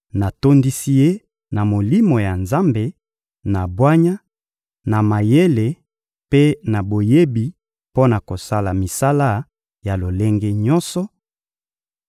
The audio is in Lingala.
natondisi ye na Molimo ya Nzambe, na bwanya, na mayele mpe na boyebi mpo na kosala misala ya lolenge nyonso;